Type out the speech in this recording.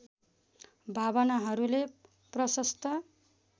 भावनाहरूले प्रशस्त